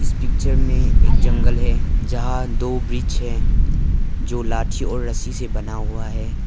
इस पिक्चर में जंगल हैं जहां दो ब्रिज है जो लाठी और रस्सी से बना हुआ है।